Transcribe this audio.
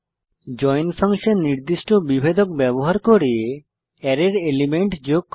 join function নির্দিষ্ট বিভেদক ব্যবহার করে অ্যারের এলিমেন্ট যোগ করে